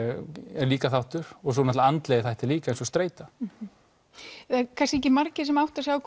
er líka þáttur svo náttúrulega andlegi þættir líka eins og streita kannski ekki margir sem átta sig á